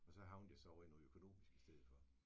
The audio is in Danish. Og så havnede jeg så over i noget økonomisk i stedet for